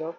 ছিল